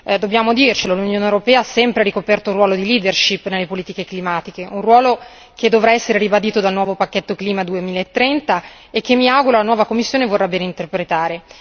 Dobbiamo dircelo, l'Unione europea ha sempre ricoperto un ruolo di leadership nelle politiche climatiche, un ruolo che dovrà essere ribadito dal nuovo pacchetto Clima 2030 e che mi auguro la nuova Commissione vorrà bene interpretare.